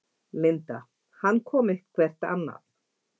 Linda: Hann kom eitthvert annað?